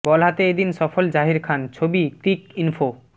বল হাতে এদিন সফল জাহির খান ছবিঃ ক্রিক ইনফো